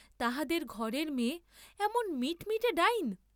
তাহাদের ঘরের মেয়ে এমন মিটমিটে ডাইন!